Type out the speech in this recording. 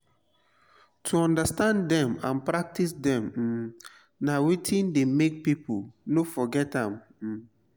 to understand dem and practice dem um na wetin de make pipo no forget am um